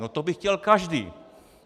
No to by chtěl každý.